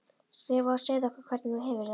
Skrifaðu og segðu okkur hvernig þú hefur það.